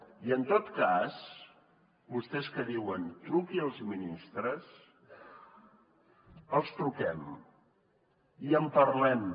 i en tot cas vostès que diuen truqui als ministres els truquem i en parlem